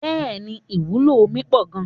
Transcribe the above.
Bẹẹni ìwúlò omi pọ gan-an.